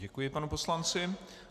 Děkuji panu poslanci.